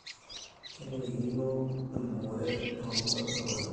Kenarikino ebukore too kwapi olamayu